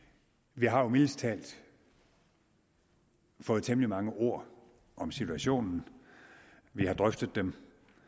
vi har jo mildest talt fået temmelig mange ord om situationen vi har drøftet den